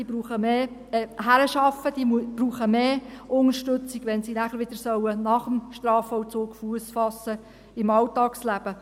Diese brauchen mehr Unterstützung, wenn sie nach dem Strafvollzug im Alltagsleben Fuss fassen sollen.